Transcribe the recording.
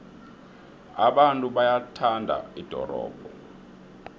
abantu bayalithanda ldorobho